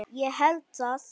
Ég held það.